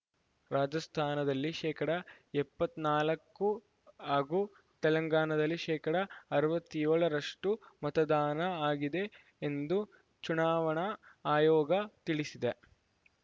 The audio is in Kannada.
ರಾಜಸ್ಥಾನದಲ್ಲಿ ಶೇಕಡಾ ಎಪ್ಪತ್ತ್ ನಾಲಕ್ಕು ಹಾಗೂ ತೆಲಂಗಾಣದಲ್ಲಿ ಶೇಕಡಾ ಅರವತ್ತ್ ಏಳರಷ್ಟು ಮತದಾನ ಆಗಿದೆ ಎಂದು ಚುನಾವಣಾ ಆಯೋಗ ತಿಳಿಸಿದೆ